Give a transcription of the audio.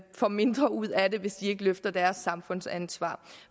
får mindre ud af det hvis de ikke løfter deres samfundsansvar